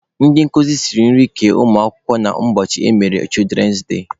Ndị nkuzi siri nri kee ụmụ akwụkwọ na ụbọchị emere "children day".